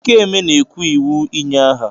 Ikeme na-kwu iwu ịnye aha.